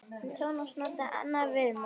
En Tómas notaði annað viðmót.